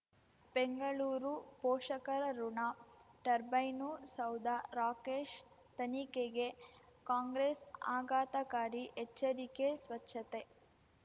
ಬೆಂಗಳೂರು ಪೋಷಕರಋಣ ಟರ್ಬೈನು ಸೌಧ ರಾಕೇಶ್ ತನಿಖೆಗೆ ಕಾಂಗ್ರೆಸ್ ಆಘಾತಕಾರಿ ಎಚ್ಚರಿಕೆ ಸ್ವಚ್ಛತೆ